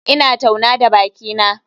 Ina tauna da bakina.